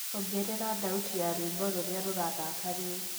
ongerera thaũtĩ ya rwĩmbo rũrĩa rurathaka riu